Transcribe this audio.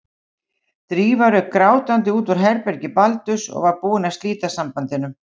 Drífa rauk grátandi út úr herbergi Baldurs og var búin að slíta sambandinu.